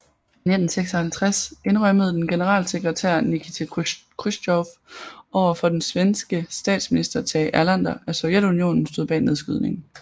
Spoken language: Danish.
I 1956 indrømmede den generalsekretær Nikita Khrusjtjov overfor den svenske statsminister Tage Erlander at Sovjetunionen stod bag nedskydningen